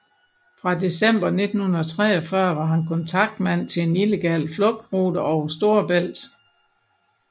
Fra december 1943 var han kontaktmand til en illegal flugtrute over Storebælt